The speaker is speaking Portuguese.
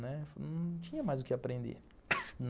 Né, não tinha mais o que aprender.